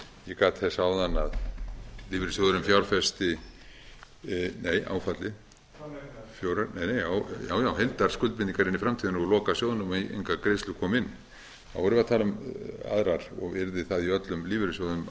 ég gat þess áðan að lífeyrissjóðurinn fjárfesti nei áfallið fjóra nei heildarskuldir inn í framtíðina loka sjóðnum og engar greiðslur komu inn þá erum við að tala um aðrar og yrði þá í öllum lífeyrissjóðunum